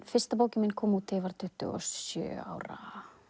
fyrsta bókin mín kom út þegar ég var tuttugu og sjö ára